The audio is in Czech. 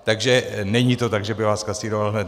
Takže není to tak, že by vás zkasíroval hned.